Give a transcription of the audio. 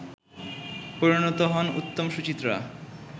পরিণত হন উত্তম-সুচিত্রা